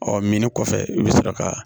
Ɔ minni kɔfɛ i bɛ sɔrɔ ka